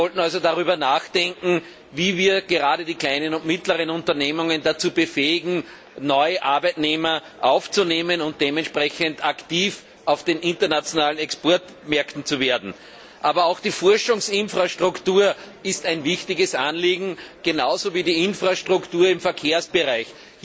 Wir sollten also darüber nachdenken, wie wir gerade die kleinen und mittleren Unternehmen dazu befähigen, neue Arbeitnehmer einzustellen und dementsprechend aktiv auf den internationalen Exportmärkten zu werden. Aber auch die Forschungsinfrastruktur ist ein wichtiges Anliegen, genauso wie die Infrastruktur im Verkehrsbereich.